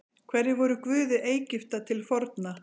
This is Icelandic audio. Hverjir voru guðir Egypta til forna?